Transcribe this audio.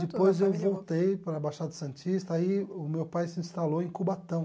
Depois eu voltei para a Baixada Santista e aí o meu pai se instalou em Cubatão.